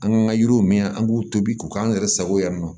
An kan ka yiriw min an b'u tobi ko k'an yɛrɛ sago yan nɔ